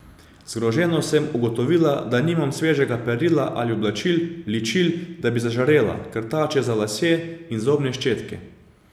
Zgroženo sem ugotovila, da nimam svežega perila ali oblačil, ličil, da bi zažarela, krtače za lase in zobne ščetke.